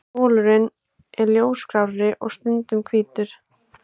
Bolurinn er ljósgrárri og stundum hvítur.